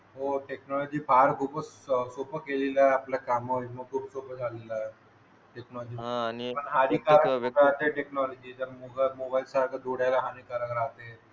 हो टेक्नॉलॉजी फार खूपच सोपं केलेल आहे आपल काम बिम खूप सोपं झालेलं आहे टेक्नॉलॉजी पण हानिकारक राहते टेक्नॉलॉजी मोबाईलचा थोड हानिकारक राहते